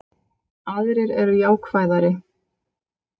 Aðrir eru jákvæðari